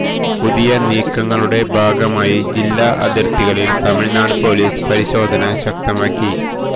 പുതിയ നീക്കങ്ങളുടെ ഭാഗമായി ജില്ലാ അതിർത്തികളിൽ തമിഴ്നാട് പൊലീസ് പരിശോധന ശക്തമാക്കി